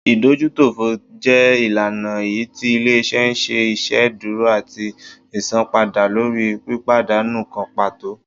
ìdójútòfò jẹ ìlànà èyítí ilé-iṣẹ́ n ṣe iṣedúró atí isánpàda lórí pípadánú kan pàtó